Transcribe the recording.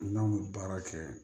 N'an bɛ baara kɛ